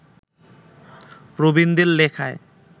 প্রবীণদের লেখায়